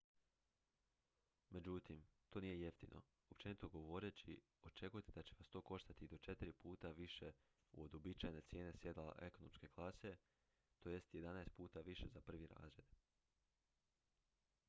međutim to nije jeftino: općenito govoreći očekujte ​​da će vas to koštati i do četiri puta više od uobičajene cijene sjedala ekonomske klase to jest jedanaest puta više za prvi razred!